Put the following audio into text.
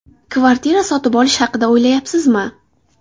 Kvartira sotib olish haqida o‘ylayapsizmi?